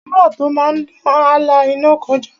Wúrà tó máa dán, á la iná kọjá.